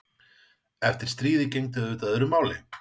Eftir stríðið gegndi auðvitað öðru máli.